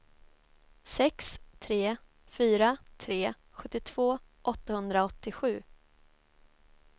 sex tre fyra tre sjuttiotvå åttahundraåttiosju